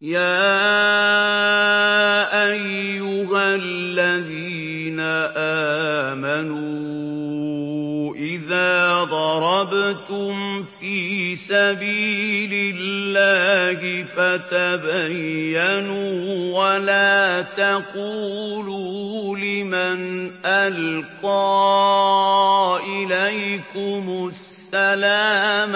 يَا أَيُّهَا الَّذِينَ آمَنُوا إِذَا ضَرَبْتُمْ فِي سَبِيلِ اللَّهِ فَتَبَيَّنُوا وَلَا تَقُولُوا لِمَنْ أَلْقَىٰ إِلَيْكُمُ السَّلَامَ